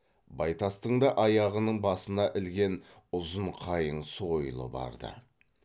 байтастың да аяғының басына ілген ұзын қайың сойылы бар ды